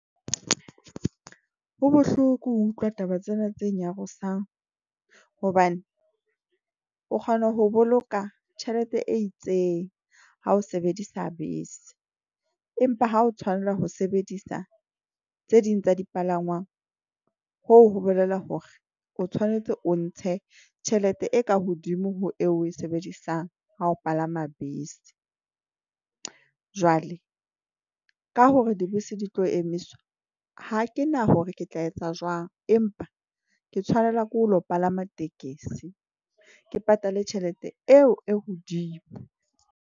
Ho bohloko ho utlwa taba tsena tse nyarosang hobane o kgona ho boloka tjhelete e itseng. Ha o sebedisa bese, empa ha o tshwanela ho sebedisa tse ding tsa dipalangwang hoo ho bolela hore, o tshwanetse o ntshe tjhelete e ka hodimo ho eo oe sebedisang ha ho palama bese. Jwale ka hore dibese di tlo emiswa. Ha ke na hore ke tla etsa jwang, empa ke tshwanelwa ke ho lo palama tekesi ke patale tjhelete eo e hodimo.